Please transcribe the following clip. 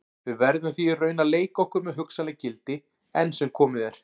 Við verðum því í raun að leika okkur með hugsanleg gildi, enn sem komið er.